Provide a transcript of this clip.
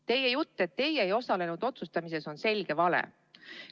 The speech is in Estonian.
Teie jutt, et teie ei osalenud otsustamises, on selge vale.